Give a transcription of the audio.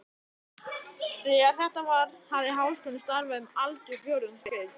Þegar þetta var, hafði Háskólinn starfað um aldarfjórðungs skeið.